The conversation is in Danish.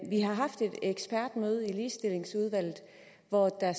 vi har haft et ekspertmøde i ligestillingsudvalget hvor der